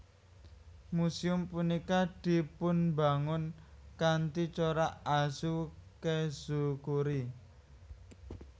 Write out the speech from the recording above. Muséum punika dipunbangun kanthi corak Azukezukuri